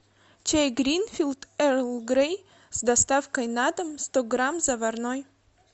чай гринфилд эрл грей с доставкой на дом сто грамм заварной